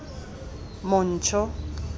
montsho